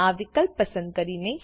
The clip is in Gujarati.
આ વિકલ્પ પસંદ કરીને